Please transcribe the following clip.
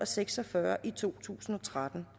seks og fyrre i to tusind og tretten